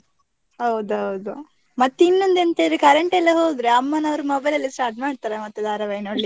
ಹೌದೌದು, ಮತ್ತೆ ಇನ್ನೊಂದು ಎಂತ ಹೇಳಿದ್ರೆ, current ಎಲ್ಲಾ ಹೋದ್ರೆ ಅಮ್ಮ ನವರು mobile ಅಲ್ಲಿ start ಮಾಡ್ತಾರೆ, ಮತ್ತೆ ಧಾರಾವಾಹಿ ನೋಡ್ಲಿಕ್ಕೆ.